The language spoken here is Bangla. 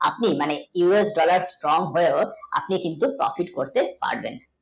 আপনি মানে us dollar strong হয়ে কিন্তু profect করতে পারবেন